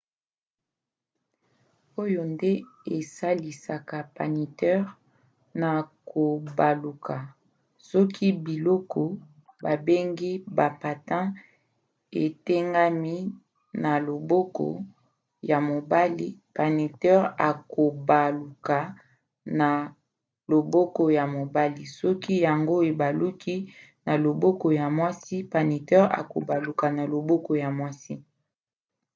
oyo nde esalisaka patineur na kobaluka. soki biloko babengi ba patins etengami na loboko ya mobali patineur akobaluka na loboko ya mobali soki yango ebaluki na loboko ya mwasi patineur akobaluka na loboko ya mwasi